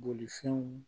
Bolifɛnw